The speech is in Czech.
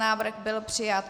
Návrh byl přijat.